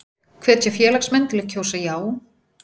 Hvetja félagsmenn til að kjósa já